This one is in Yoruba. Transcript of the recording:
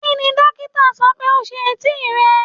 Kini dokita sọ pe o se eti rẹ?